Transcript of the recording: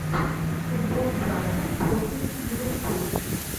футбол брайтон против ливерпуль